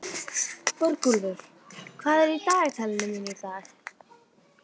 Borgúlfur, hvað er í dagatalinu mínu í dag?